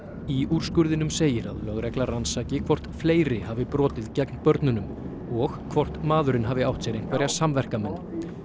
í úrskurðinum segir að lögregla rannsaki hvort fleiri hafi brotið gegn börnunum og hvort maðurinn hafi átt sér einhverja samverkamenn